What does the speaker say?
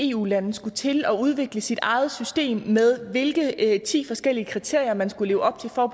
eu land skulle til at udvikle sit eget system med hvilke ti forskellige kriterier man skulle leve op til for at